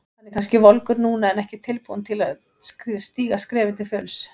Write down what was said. Hann er kannski volgur núna en ekki tilbúinn til að stíga skrefið til fulls.